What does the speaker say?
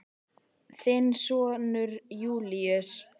Þinn sonur Júlíus.